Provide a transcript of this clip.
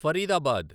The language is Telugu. ఫరీదాబాద్